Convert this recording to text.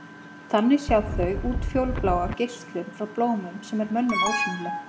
Þannig sjá þau útfjólubláa geislun frá blómum sem er mönnum ósýnileg.